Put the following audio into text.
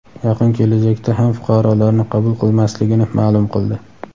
yaqin kelajakda ham fuqarolarni qabul qilmasligini maʼlum qildi.